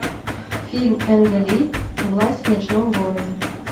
фильм энга ли власть в ночном городе